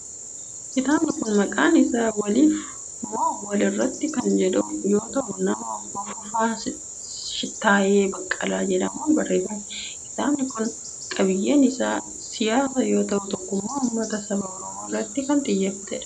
Kitaabni kun, maqaan isaa Waliif moo Wal Irratti kan jedhamu yoo ta'u, nama Obbo Fufaa Shittaayee Baqqalaa jedhamuun barreeffame. Kitaabni kun, qabiiyyeen isaa siyaasa yoo ta'u, tokkummaa ummata saba Oromoo irratti kan xiyyeeffatee dha.